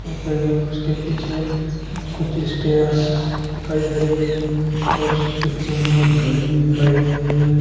उसके पीछे कुछ स्टेयर्स दिखाई दे रही है और उस पिक्चर में एक घड़ी भी दिखाई दे रही है।